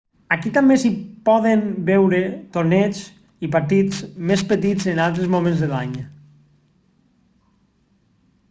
aquí també s'hi poden veure torneigs i partits més petits en altres moments de l'any